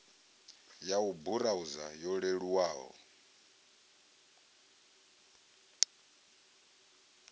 ya u burauza yo leluwaho